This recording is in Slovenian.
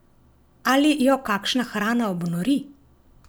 Ali jo kakšna hrana obnori?